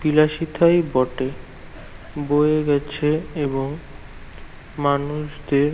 বিলাসিতাই বটে বয়ে গেছে এবং মানুষদের